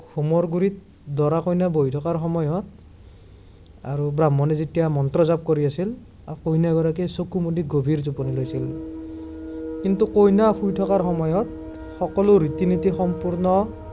হোমৰ গুৰিত দৰা কইনা বহি থকাৰ সময়ত আৰু ব্ৰাহ্মণে যেতিয়া মন্ত্ৰ জাঁপ কৰি আছিল, কইনাগৰাকীয়ে চকু মুদি গভীৰ টোপনিত আছিল। কিন্তু কইনা শুই থকাৰ সময়ত সকলো ৰীতি নীতি সম্পূৰ্ণ